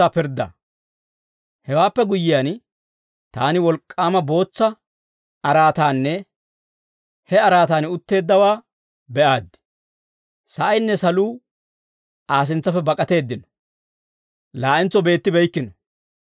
Hewaappe guyyiyaan, taani wolk'k'aama bootsa araataanne he araataan utteeddawaa be'aaddi. Sa'aynne saluu Aa sintsappe bak'ateeddino; laa'entso beettibeykkino.